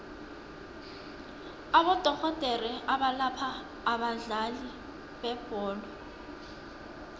abodorhodere abalapha abadlali bebholo